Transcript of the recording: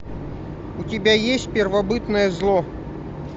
у тебя есть первобытное зло